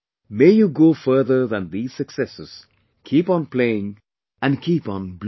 May you go further than these successes, keep on playing and keep on blooming